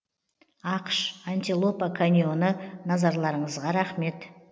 ақш антилопа каньоны назарларыңызға рахмет